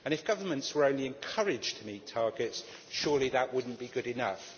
If governments were only encouraged to meet targets, surely that would not be good enough.